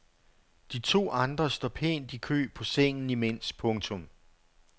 De to andre står pænt i kø på sengen imens. punktum